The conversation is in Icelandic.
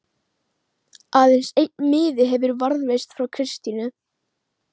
Aðeins einn miði hefur varðveist frá Kristínu